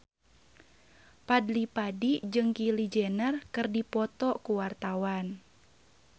Fadly Padi jeung Kylie Jenner keur dipoto ku wartawan